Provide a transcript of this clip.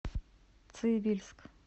цивильск